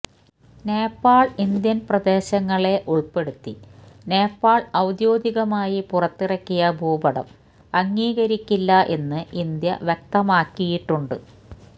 Nepal Indian പ്രദേശങ്ങളെ ഉള്പ്പെടുത്തി നേപ്പാള് ഔദ്യോഗികമായി പുറത്തിറക്കിയ ഭൂപടം അംഗീകരിക്കില്ല എന്ന് ഇന്ത്യ വ്യക്തമാക്കിയിട്ടുണ്ട്